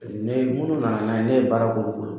ne jugu nana, ne ye baara k'olu bolo.